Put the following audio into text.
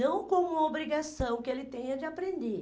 Não como obrigação que ele tenha de aprender.